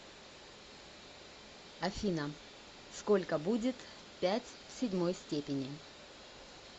афина сколько будет пять в седьмой степени